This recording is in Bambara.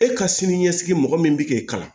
E ka sini ɲɛsigi mɔgɔ min bɛ k'i kalan